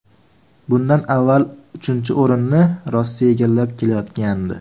Bundan avval uchinchi o‘rinni Rossiya egallab kelayotgandi .